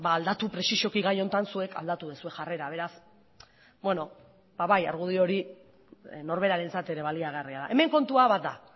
ba aldatu presizoki gai honetan zuek aldatu duzue jarrera beraz beno ba bai argudio hori norberarentzat ere baliagarria da hemen kontua bat da